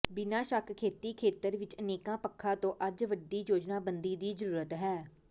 ਬਿਨਾਂ ਸ਼ੱਕ ਖੇਤੀ ਖੇਤਰ ਵਿਚ ਅਨੇਕਾਂ ਪੱਖਾਂ ਤੋਂ ਅੱਜ ਵੱਡੀ ਯੋਜਨਾਬੰਦੀ ਦੀ ਜ਼ਰੂਰਤ ਹੈ